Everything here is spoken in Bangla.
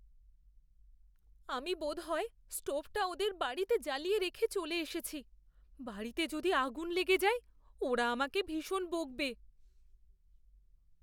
আমি বোধহয় স্টোভটা ওদের বাড়িতে জ্বালিয়ে রেখে চলে এসেছি। বাড়িতে যদি আগুন লেগে যায় ওরা আমাকে ভীষণ বকবে।